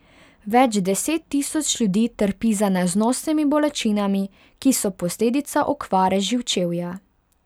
Več deset tisoč ljudi trpi za neznosnimi bolečinami, ki so posledica okvare živčevja.